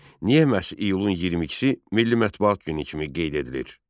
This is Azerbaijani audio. Niyə məhz iyulun 22-si Milli Mətbuat Günü kimi qeyd edilir?